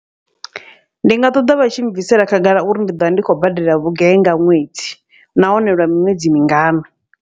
Ndi nga ṱoḓa vha tshi bvisela khagala uri ndi ḓovha ndi khou badela vhugai nga ṅwedzi, nahone lwa miṅwedzi mingana.